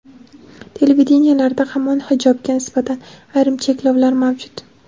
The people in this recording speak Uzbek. televideniyelarda hamon hijobga nisbatan ayrim cheklovlar mavjud.